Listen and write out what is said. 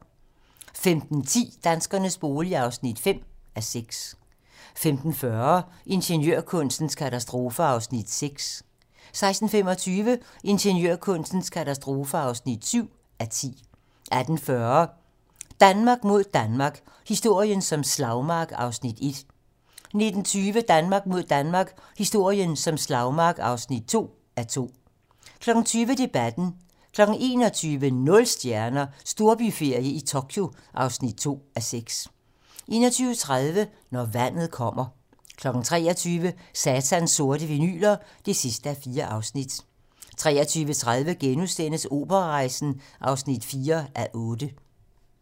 15:10: Danskernes bolig (5:6) 15:40: Ingeniørkunstens katastrofer (6:10) 16:25: Ingeniørkunstens katastrofer (7:10) 18:40: Danmark mod Danmark - historien som slagmark (1:2) 19:20: Danmark mod Danmark - historien som slagmark (2:2) 20:00: Debatten 21:00: Nul stjerner - Storbyferie i Tokyo (2:6) 21:30: Når vandet kommer 23:00: Satans sorte vinyler (4:4) 23:30: Operarejsen (4:8)*